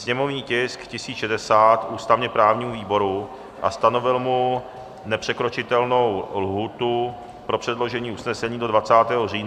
sněmovní tisk 1060 ústavně-právnímu výboru a stanovil mu nepřekročitelnou lhůtu pro předložení usnesení do 23. října do 8.30 hodin;